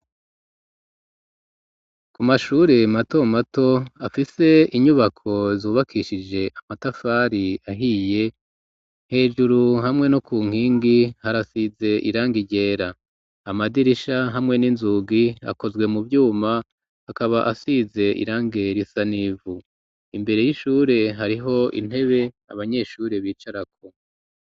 Ku mashure mato mato afise inyubako zubakishije amatafari ahiye hejuru hamwe no ku nkingi harasize irangi ryera amadirisha hamwe n'inzugi akozwe mu vyuma akaba asize irangi risa n'ivu, imbere y'ishure hariho intebe abanyeshure bicarako.